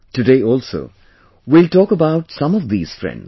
Today also, we'll talk about some of these friends